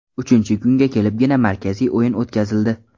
Uchinchi kunga kelibgina markaziy o‘yin o‘tkazildi.